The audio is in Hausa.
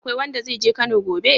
Akwai wanda zai je Kano gobe?